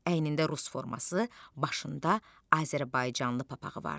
Əynində rus forması, başında azərbaycanlı papağı vardı.